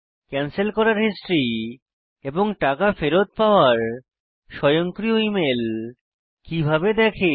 cancel করার history এবং টাকা ফেরৎ পাওয়ার স্বয়ংক্রিয় ইমেল কিভাবে দেখে